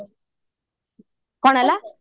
କଣ ହେଲା